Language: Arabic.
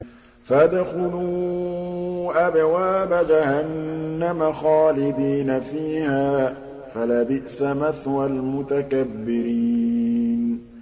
فَادْخُلُوا أَبْوَابَ جَهَنَّمَ خَالِدِينَ فِيهَا ۖ فَلَبِئْسَ مَثْوَى الْمُتَكَبِّرِينَ